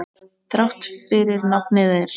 Þrátt fyrir nafnið er.